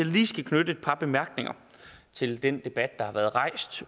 lige skal knytte et par bemærkninger til den debat der har været rejst